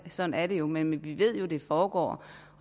sådan er det jo men vi ved jo at det foregår